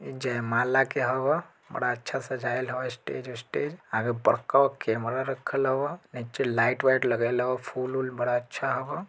ई जयमाला के हौ। बड़ा अच्छा सजायल ह- ईस्टेज ओस्टेज। आगे बड़का गो कैमरा रखा हवा। नीचे लाइट - वाईट लगाएल ह फूल - वोल बड़ा अच्छा हव।